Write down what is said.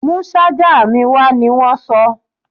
Mú ṣájà mi wá! ní wọ́n sọ.